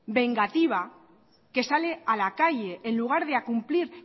vengativa que sale a la calle en lugar de a cumplir